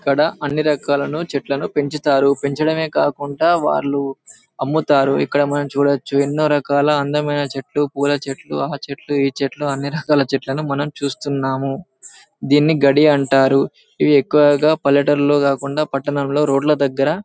ఇక్కడ అన్ని రాకలను చెట్లని పెంచుతారు పెంచడమే కాకుండా వాలు అమ్ముతారు ఇక్కడ మనం చూడొచ్చు ఎన్నో రకాల అందమైన చెట్లు పూల చెట్లు ఆ చెట్లు ఈ చెట్లు అని అన్ని రాగాల చెట్లని మనం చూస్తున్నాం దీని గడ్డి అంటారు ఇది ఎక్కువగా పల్లెటూరులో కాకుండా పట్టణంలో రోడ్ ల దగ్గర --